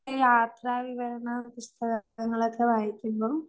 ഒരു യാത്രാവിവരണ പുസ്തക ങ്ങളൊക്കെ വായിക്കുമ്പം